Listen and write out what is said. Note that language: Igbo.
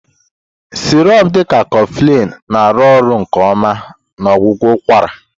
Sirop dị ka Coflin na-arụ ọrụ nke ọma na ọgwụgwọ ụkwara.